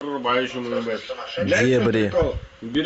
дебри